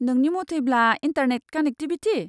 नोंनि मथैब्ला, internet connectivity?